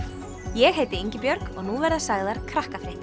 ég heiti Ingibjörg og nú verða sagðar